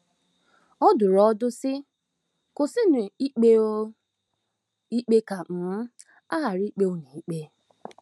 Ọ dụrụ ọdụ, sị: “ Kwụsịnụ ikpe um ikpe ka um a ghara ikpe unu ikpe.